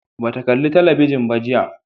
Ba ta kala talabijin ba jiya